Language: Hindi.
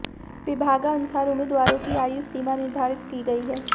विभागानुसार उम्मीदवारों की आयु सीमा निर्धारित की गई है